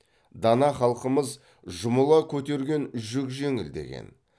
дана халқымыз жұмыла көтерген жүк жеңіл деген